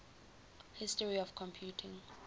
history of computing